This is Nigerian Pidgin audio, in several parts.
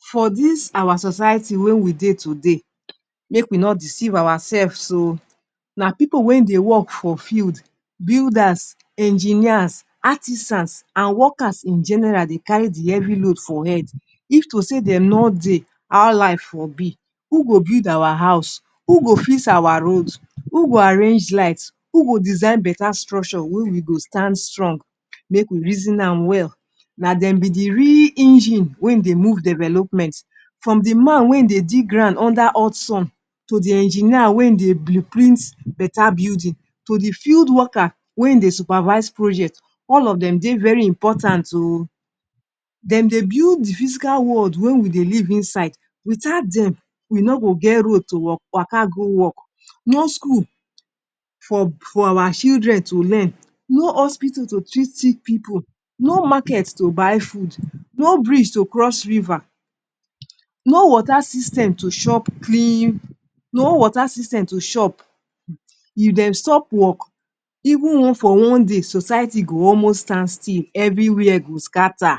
For dis our society wey we dey today um make we no deceive ourselves o, na pipu wey dey work for field, builders, engineers, artisans, and workers in general dey carry di heavy load for head, if to say dem nor dey, how life for be, who go build our house, who go fix our roads, who go arrange lights, who go design betta structure wey we go stand strong, make we reason am wel. Na dem be di real engine wey dey move development from di man wey dey dig ground under hot sun, to di engineer wey dey blue print betta building to di field worker wey dey supervise project, all of dem dey very important oo! Dem dey build di physical world wey we dey live inside, witat dem we no go get road to waka go wok. No school for for our children to learn, no hospitle to treat sick pipu, no market to buy food, no bridge to cross river, no water system to chop clean, no water system to chop, if dem stop wok, even one for one day, society go almost stand still, evriwia go scatter.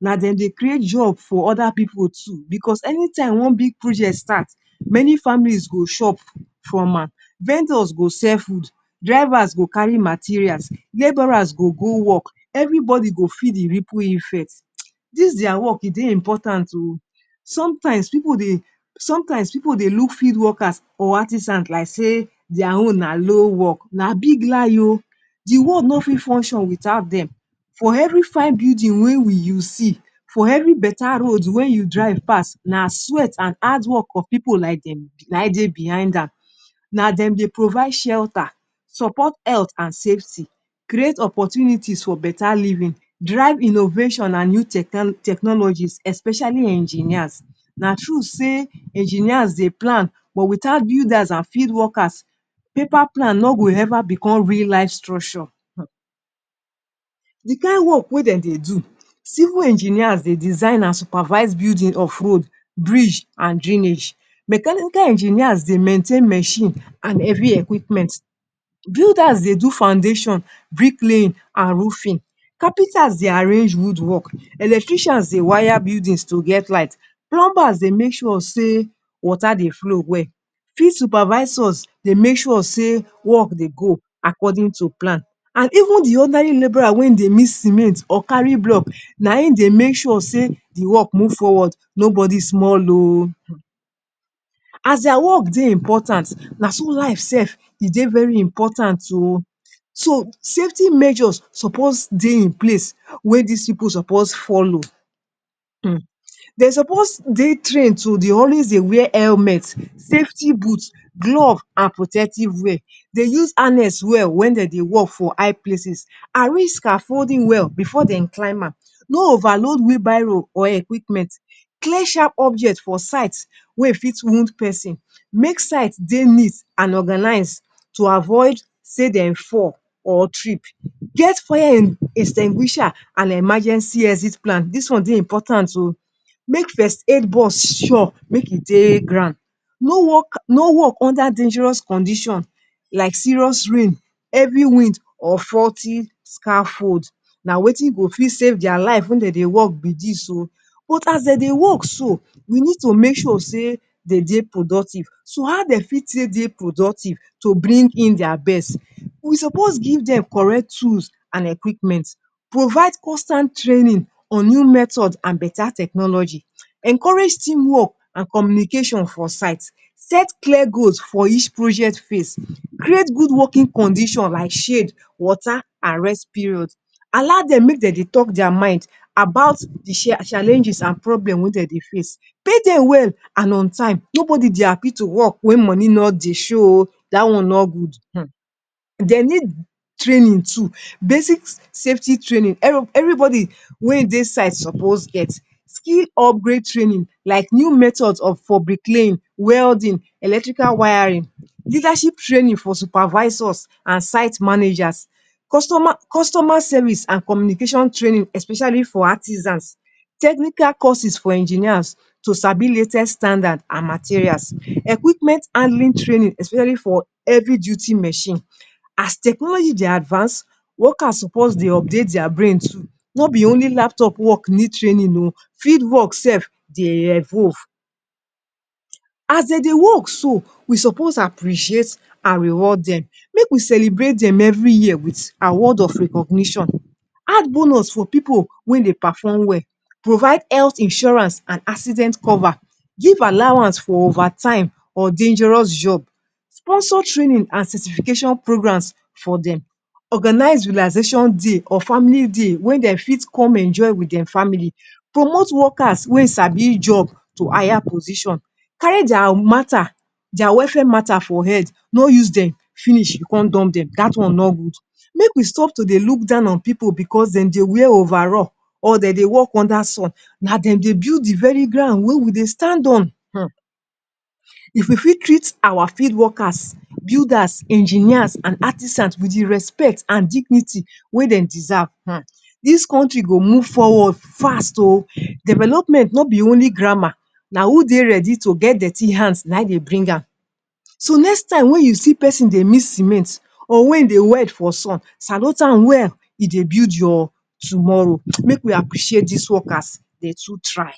Na dem dey create job for oda pipu too, bicos anytime one big project start many families go chop from am, vendors go sell food, drivers go carry materials, labourers go go wok, evribody go feel di ripple effect, [hiss] dis dia work e dey important o, sometimes people dey sometimes pipu dey look field workers or artisans like say dia own na low work, na big lie o, di world no fit function wit out dem, for evri fine building wey we you see, for evri betta Road wey you drive pass, na sweat and hard work of pipu like dem na im dey behind am, na dem dey provide shelter support health and safety, create opportunities for betta living, drive innovation and new technologies, especially engineers na true say engineers dey plan but witout builders and field workers, paper plan no go eva become real life structure um. Di kain work wey dem dey do. Civil engineers dey design and supervise building of roads, bridge and drainage, mechanical engineers dey maintain mechine and heavy equipment, builders dey do foundations bricklaying and roofing, carpenters dey arrange wood work, electricians dey wire buildings to get light, plumbers dey make sure sey water dey flow well, field supervisors dey make sure sey work dey go according to plan, and even di ordinary labourer wey dey mix cement or carry block na im dey make sure say di work move forward, nobody small ooo. As dia work dey important naso life sef e dey very important ooo. So, safety measures suppose dey in place wey dis pipu suppose follow. um Dey suppose dey trained to dey always dey wear helmet, safety boots, glove, and protective wear, dey use annex well wen dem dey work for high places, arrange scaffolding well bifor dem go climb am, no overload wheel barrow or equipment, clear sharp objects for site wey e fit wound pesin, make site dey neat and organised to avoid say dem fall or trip. Get fire en extinguisher and emergency exit plan dis one dey important o, make first aid box sure, make e dey ground, no work no work under dangerous conditions like serious rain, heavy wind or faulty scaffold. Na wetin go fit save dia lives wen dem dey work be this oo. But as dem dey work so, we need to make sure say dey dey productive. So how dem fit take dey productive to bring in dia best. We suppose give dem correct tools and equipment, provide constant training on new methods and betta technology. Encourage team work and communication for site, set clear goals for each projects phase. Create good working conditions like shade, water and rest period. Allow dem make dem dey tok dia mind about di challenges and problems wey dem dey face. Pay dem well and on time. Nobody dey happy to work wen money no dey show oo. Dat one no good, um Dem need training too basic safety training, evribody wey dey site suppose get. Skill upgrade training like new methods of for bricklaying, welding, electrical wiring, leadership training for supervisors and site manajas, customer customer service and communication training especially for artisans technical courses for engineers to sabi latest standard and materials, equipment handling training especially for heavy duty mechine, as technology dey advance, workers suppose dey update dia brains too, nobi only laptop work need training o field wok sef dey evolve. As dem dey work so, we suppose appreciate and reward dem, make we celebrate dem evri year with award of recognition, add bonus for pipu wey dey perform well, provide health insurance and accident cover, give allowance for overtime or dangerous job, sponsor training and certification programs for dem, organise relaxation day, or family day, wen dem fit come enjoy wit dem family, promote workers wey sabi job to higher position, carry dia matta, dia welfare matta for head. No use dem finish con dump dem, dat one nor good. Make we stop to dey look down on pipu bicos dem dey wear overall or dem dey work under sun, na dem dey build di very ground wey we dey stand on, um if we fit treat our field workers, builders, engineers, artisans, wit the respect and dignity wen dey deserve um dis country go move forward fast o. Development nobi only grammar na who dey ready to get dirty hands na im dey bring am, so next time wen you see pesin dey mix cement or wen im dey wet for sun, salute am well he dey build your tomorrow, um make we appreciate dis workers dem too try.